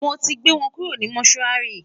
mọ tí gbé wọn kúrò ní motuari